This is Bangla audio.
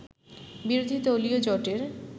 বিরোধী দলীয় জোটের